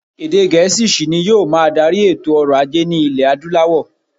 Èdè Gẹ̀̀ẹ́sì ṣì ni yóò máa darí èto ọrọ̀-ajé ní iẹ̀ Adúláwọ̀.